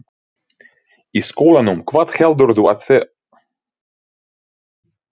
Í skólanum, hvað heldurðu að það sé spennandi?